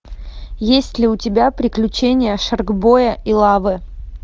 есть ли у тебя приключения шаркбоя и лавы